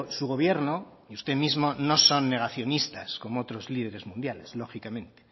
su gobierno y usted mismo no son negacionistas como otros líderes mundiales lógicamente